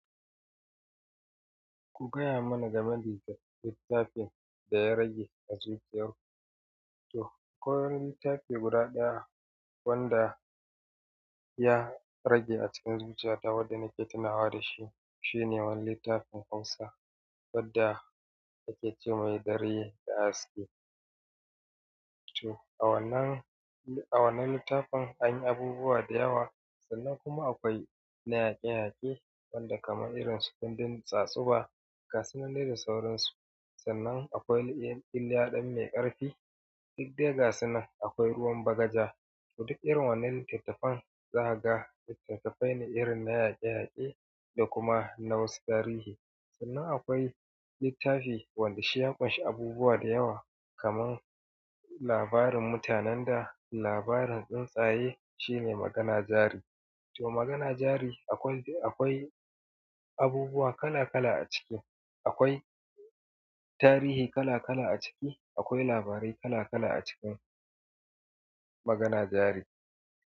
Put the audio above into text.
Ku gaya mana game da littafin da ya rage a zuciyarku. To, akwai wani littafi guda ɗaya wanda ya rage a cikin zuciyata wanda nake tunawa da shi. Shine wani littafin hausa wacce ake cema dare da haske to, a wannan, a wannan littafin anyi abubuwa da yawa sannan kuma akwai na yaƙe-yaƙe wanda kaman irin su kundin tsatsuba gasu nan dai dasauran su. Sannan akwai iliya ɗan mai ƙarfi. Duk dai gasu nan akwai ruwan bagaja. Toh duk irin wannan littattafan zaga, littattafai ne irin na yaƙe-yaƙe da kuma na wasu tarihi. Sannan akwai littafi wanda shi ya ƙunshi abubuwa da yawa kaman labarin mutanen da labarin tsuntsaye shine magana jari. Toh magana jari akwai abubuwa kala-kala a ciki akwai tarihi kala kala a ciki. Akwai labarai kala kala acikin magana jari.